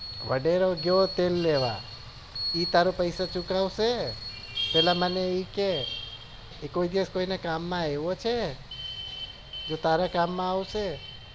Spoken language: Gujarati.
વડેરા ગયો તેલ લેવા એ તારો પૈસા ચૂકવશે પેલા એમ કે એ કોઈ દિવસ કોઈ ના કામ માં આવ્યો છે તે તારા કામ માં આવશે